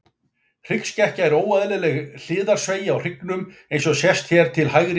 Hryggskekkja er óeðlileg hliðarsveigja á hryggnum, eins og sést hér til hægri á myndinni.